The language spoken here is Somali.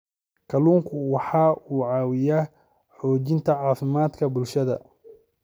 Kalluunku waxa uu caawiyaa xoojinta caafimaadka bulshada.